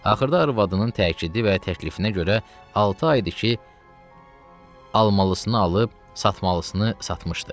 Axırda arvadının təkidi və təklifinə görə altı aydır ki almalısını alıb satmalısını satmışdı.